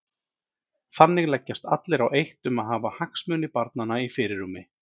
Þannig leggjast allir á eitt um að hafa hagsmuni barnanna í fyrirrúmi.